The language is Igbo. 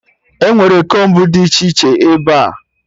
Enwere kombu dị iche iche ebea